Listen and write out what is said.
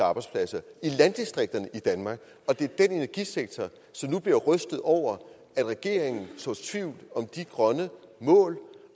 arbejdspladser i landdistrikterne i danmark og det er den energisektor som nu bliver rystet over at regeringen sår tvivl om de grønne mål